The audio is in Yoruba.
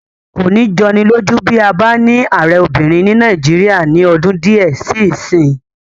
Kò ní jọni lójú bí a bá ní ààrẹ obìnrin ní Nàìjíríyà ní ọdún díẹ̀ sí ìsín